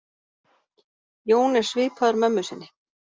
Jón er svipaður mömmu sinni.